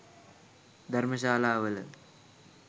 ධර්මශාලාවල